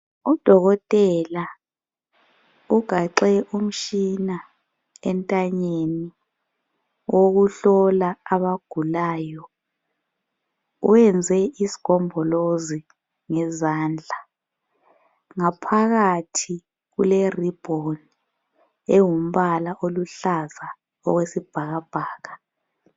Udokotela ugaxe umtshina entanyeni owokuhlola abagulayo. Wenze isigombolozi ngezandla. Ngaphakathi kulerribbon ewumbala oluhlaza okwesibhakabhaka.